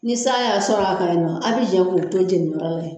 Ni san y'a sɔrɔ a kan yen, aw bi jɛ ko to jeni yɔrɔ la.